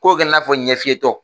K'o kɛ la i n'a fɔ ɲɛ fiyetɔ.